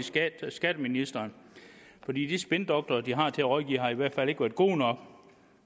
skatteministeren for de spindoktorer de har til at rådgive har i hvert fald ikke været gode nok